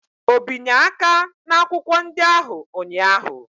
O binye aka n'akwụkwọ ndị ahụ ụnyaahụ?